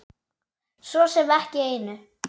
Svo sem ekki neinu.